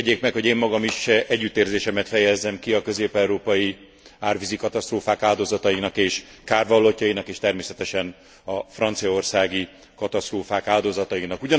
Engedjék meg, hogy én magam is együttérzésemet fejezzem ki a közép európai árvízi katasztrófák áldozatainak és kárvallottjainak és természetesen a franciaországi katasztrófák áldozatainak.